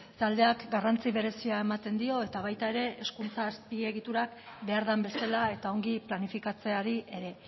taldeak garrantzi berezia ematen dio eta baita ere hezkuntza azpiegiturak behar den bezala eta ongi planifikatzeari ere